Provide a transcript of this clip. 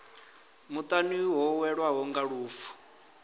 muṱani ho welwaho nga lufu